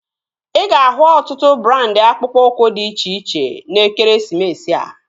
Ị ga-ahụ ọtụtụ brandị akpụkpọ ụkwụ dị iche iche n'ekeresimesi a